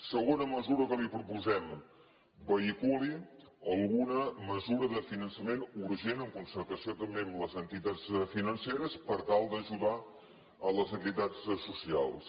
segona mesura que li proposem vehiculi alguna mesura de finançament urgent en concertació també amb les entitats financeres per tal d’ajudar les entitats socials